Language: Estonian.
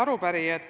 Head arupärijad!